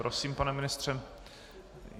Prosím, pane ministře.